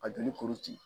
Ka joli kuru ci